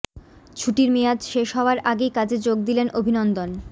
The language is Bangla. ছুটির মেয়াদ শেষ হওয়ার আগেই কাজে যোগ দিলেন অভিনন্দন